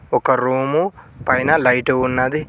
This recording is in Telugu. ఒక రూము పైన లైట్ ఉన్నది.